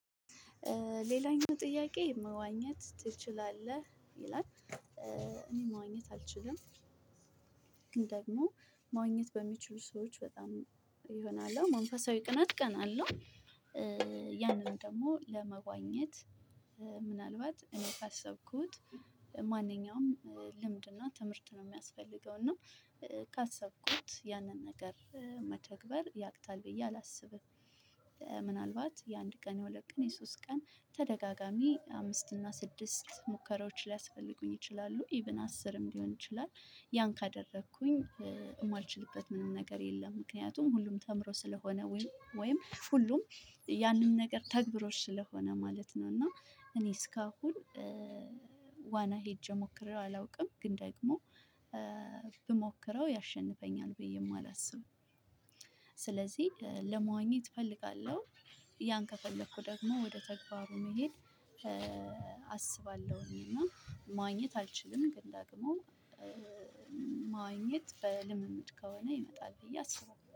ሌላኛው ጥያቄ መዋኘት ትችላለህ ይላል እኔ መዋኘት አልችልም። ግን ደግሞ መዋኘት በሚችሉ ሰዎች በጣም የሆነ አለ አ መንፈሳዊ ቅናት እቀናለሁ። ያንን ደግሞ ለመዋኘት ምናልባት እኔ ካሰብኩት ማንኛውም ልምድ እና ትምህርት ነው ሚያስፈልገው። እና ካሰብኩት ያንን ነገር መተግበር ያቅታል ብዬ አላስብም። ምናልባት የአንድ ቀን የሁለት ቀን የሶስት ቀን ተደጋጋሚ አምስት እና ስድስት ሙከራዎች ሊያስፈልጉኝ ይችላሉ ኢቭን አስርም ሊሆን ይችላል። ያን ካደረኩኝ የማልችልበት ምንም ነገር የለም። ምክንያቱም ሁሉም ተምሮ ስለሆነ ወይም ወይም ሁሉም ያንን ነገር ተግባሮች ስለሆነ ማለት ነው። እና እኔ እስካሁን ሄጄ ሞክሬ አላውቅም ግን ደግሞ ብሞክረው ያሸንፈኛል ብዬም አላስብም። ስለዚህ ለመዋኘት እፈልጋለሁ። ያን ከፈለኩ ደግሞ ወደ ተግባሩ መሄድ አስባለሁኝ። እና መዋኘት አልችልም ግን ደግሞ መዋኘት በልምምድ ከሆነ ይመጣል ብዬ አስባለሁ